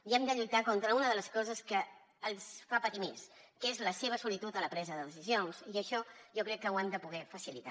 i hem de lluitar contra una de les coses que els fa patir més que és la seva solitud en la presa de decisions i això jo crec que ho hem de poder facilitar